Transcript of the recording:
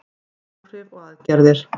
Áhrif og aðgerðir.